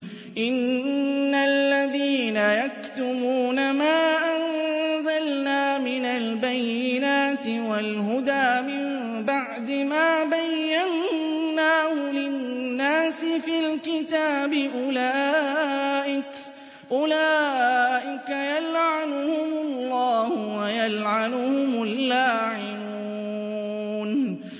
إِنَّ الَّذِينَ يَكْتُمُونَ مَا أَنزَلْنَا مِنَ الْبَيِّنَاتِ وَالْهُدَىٰ مِن بَعْدِ مَا بَيَّنَّاهُ لِلنَّاسِ فِي الْكِتَابِ ۙ أُولَٰئِكَ يَلْعَنُهُمُ اللَّهُ وَيَلْعَنُهُمُ اللَّاعِنُونَ